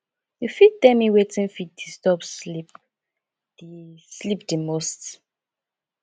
you fit tell me wetin fit disturb sleep di sleep di most